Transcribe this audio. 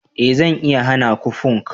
eh zan iya hana ku punk